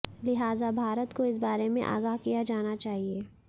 लिहाजा भारत को इस बारे में आगाह किया जाना चाहिए